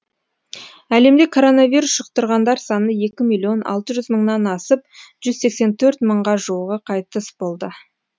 әлемде коронавирус жұқтырғандар саны екі миллион алты жүз мыңнан асып жүз сексен төрт мыңға жуығы қайтыс болды